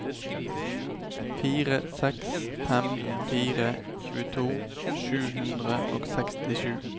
fire seks fem fire tjueto sju hundre og sekstisju